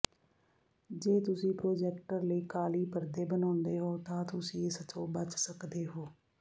ਜੇ ਤੁਸੀਂ ਪ੍ਰੋਜੈਕਟਰ ਲਈ ਕਾਲੀ ਪਰਦੇ ਬਣਾਉਂਦੇ ਹੋ ਤਾਂ ਤੁਸੀਂ ਇਸ ਤੋਂ ਬਚ ਸਕਦੇ ਹੋ